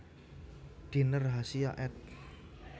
Diner Hasia ed